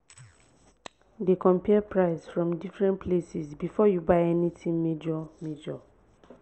dey compare price from different places before you buy anything major major